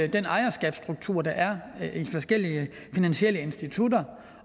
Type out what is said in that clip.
den ejerskabsstruktur der er i forskellige finansielle institutter